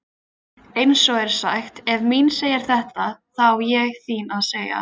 Eins er sagt: Ef mín segir þetta þá á þín að segja.